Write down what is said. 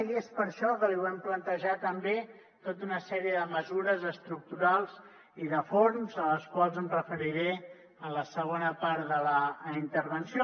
i és per això que li volem plantejar també tota una sèrie de mesures estructurals i de fons a les quals em referiré en la segona part de la intervenció